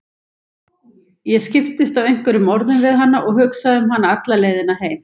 Ég skiptist á einhverjum orðum við hana og hugsaði um hana alla leiðina heim.